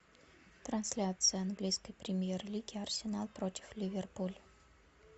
трансляция английской премьер лиги арсенал против ливерпуль